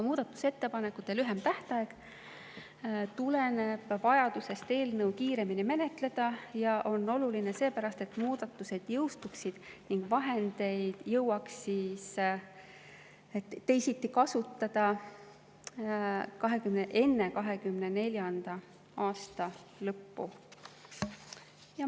Muudatusettepanekute lühem tähtaeg tuleneb vajadusest eelnõu kiiremini menetleda ja see on oluline seepärast, et muudatused jõustuksid ning vahendeid jõuaks siis teisiti kasutada enne 2024. aasta lõppu.